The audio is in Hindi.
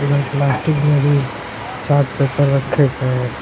प्लास्टिक में भी चार्ट पेपर रखे गए--